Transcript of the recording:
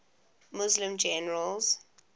muslim generals